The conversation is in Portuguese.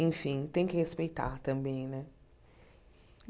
Enfim, tem que respeitar também, né?